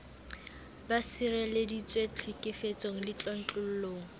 ba sireleditswe tlhekefetsong le tlontlollong